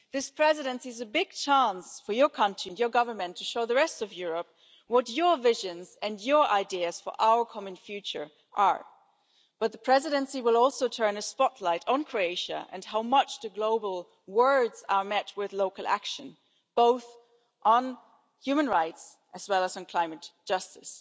This Presidency is a big chance for your country and your government to show the rest of Europe what your visions and your ideas for our common future are, but the Presidency will also turn a spotlight on Croatia and how much your global words are met with local action, both on human rights as well as on climate justice.